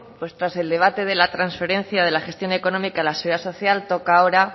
pues tras el debate de la transferencia de la gestión económica de la seguridad social toca ahora